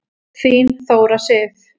Þín Þóra Sif.